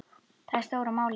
Það er stóra málið.